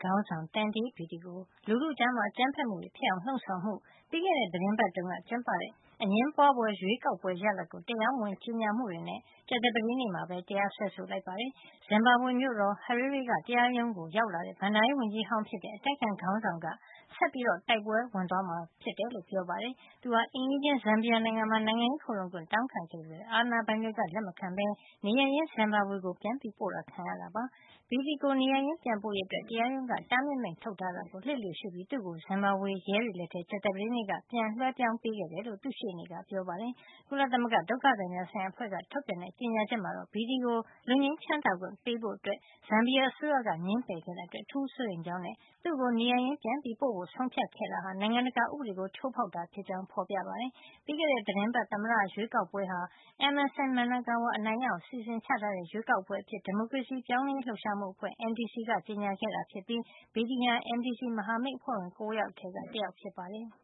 ခေါင်းဆောင် Tendai Biti ကို လူထုကြား အကြမ်းဖက်မှုတွေ ဖြစ်အောင် လှုံ့ဆော်မှု၊ ပြီးခဲ့တဲ့ သီတင်းပတ်တုန်းက ကျင်းပတဲ့ အငြင်းပွါးဖွယ် ရွေးကောက်ပွဲရလဒ်ကို တရားမဝင် ကြေညာမှုတွေနဲ့ ကြာသပတေးနေ့မှာ တရားစွဲဆိုလိုက်ပါတယ်။ ဇင်ဘာဘွေ မြို့တော် Harare က တရားရုံးကို ရောက်လာတဲ့ ဘဏ္ဍာရေးဝန်ကြီးဟောင်းဖြစ်တဲ့ အတိုက်အခံခေါင်းဆောင်က ဆက်ပြီးတိုက်ပွဲ ဝင်သွားမှာ ဖြစ်ကြောင်းပြောပါတယ်။ သူဟာ အိမ်နီးချင်း ဇမ်ဘီယာနိုင်ငံမှာ နိုင်ငံရေးခိုလှုံခွင့် တောင်းခံခဲ့ပေမယ့် အာဏာပိုင်တွေက လက်မခံပဲ နေရပ်ရင်း ဇင်ဘာဘွေကို ပြန်ပို့တာ ခံခဲ့ရတာပါ။ Biti ကို နေရပ်ရင်း ပြန်ပို့ရေးအတွက် တရားရုံးက တားမြစ်မိန့်ထုတ်ထားတာကို လျှစ်လျူရှုပြီး သူ့ကို ဇင်ဘာဘွေ ရဲတွေလက်ထဲ ကြာသပတေးနေ့က ပြန်လွှဲပြောင်းပေးခဲ့တယ်လို့ သူ့ရှေ့နေ Gilbert Phiri ကပြောပါတယ်။ ကုလသမဂ္ဂ ဒုက္ခသည်များ ဆိုင်ရာ အဖွဲ့ကထုတ်ပြန်တဲ့ ကြေညာချက်မှာတော့ Biti ကို လွတ်ငြိမ်းချမ်းသာခွင့် ပေးဖို့ ဇန်ဘီယာအစိုးရက ငြင်းပယ်ခဲ့တာအတွက် အထူးစိုးရိမ်ကြောင်းနဲ့ သူ့ကို နေရပ်ရင်း ပြန်ပို့ဖို့ ဆုံးဖြတ်ခဲ့တာဟာ နိုင်ငံတကာ ဥပဒေကို ချိုးဖောက်တာဖြစ်ကြောင်း ဖေါ်ပြထားပါတယ်။ ပြီးခဲ့တဲ့ သီတင်းပတ် သမ္မတ ရွေးကောက်ပွဲဟာ Emmerson Mnangagwa အနိုင်ရအောင် အစီစဉ်ချထားတဲ့ ရွေးကောက်ပွဲ အဖြစ် ဒီမိုကရေစီ ပြောင်းလဲရေး လှုပ်ရှားမှု အဖွဲ့ MDC က ကြေညာခဲ့တာ ဖြစ်ပြီး Biti ဟာ MDC မဟာမိတ်အဖွဲ့ဝင် ၉ ယောက်ထဲက တယောက် ဖြစ်ပါတယ်။